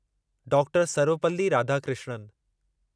doctor Sarvepalli Radhakrishnan